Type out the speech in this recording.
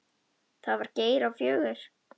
Það var Geir á fjögur.